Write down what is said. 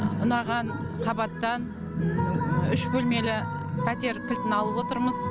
ұнаған қабаттан үш бөлмелі пәтер кілтін алып отырмыз